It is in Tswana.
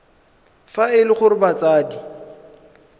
fa e le gore batsadi